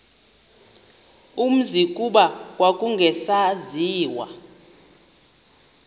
umzi kuba kwakungasaziwa